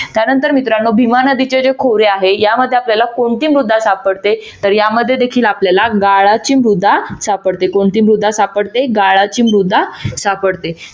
त्यानंतर मित्रानो भीमा नदीचे जे खोरे आहे यामध्ये आपल्याला कोणती मृदा सापडते तर या मध्ये देखील आपल्याला गाळाची मृदा सापडते कोणती मृदा सापडते? गाळाची मृदा सापडते.